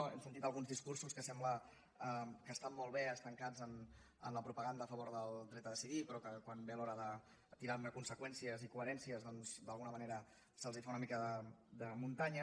hem sentit alguns discursos que sembla que estan molt bé estancats en la propaganda a favor del dret a decidir però que quan ve l’hora de tirar ne conseqüències i coherències doncs d’alguna manera se’ls fa una mica de muntanya